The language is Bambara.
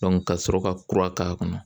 kasɔrɔ ka kura k'a kɔnɔ